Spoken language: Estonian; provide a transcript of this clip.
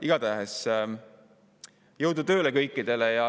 Igatahes jõudu tööle kõikidele.